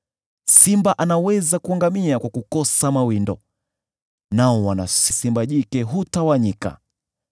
Simba anaweza kuangamia kwa kukosa mawindo, nao wana wa simba jike hutawanyika.